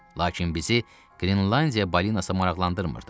Lakin bizi Qrinlandiya balinası maraqlandırmırdı.